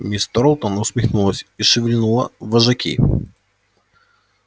миссис тарлтон усмехнулась и шевельнула вожаки